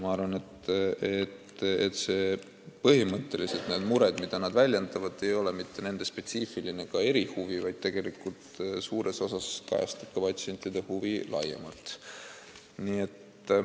Ma arvan, et need mured, mida nad väljendavad, ei tulene mitte nende spetsiifilisest erihuvist, vaid tegelikkuses kajastavad need suures osas patsientide huve laiemalt.